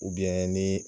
ni